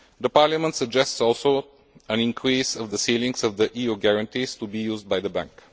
Parliament suggests, also, an increase in the ceilings of the EU guarantees to be used by the Bank.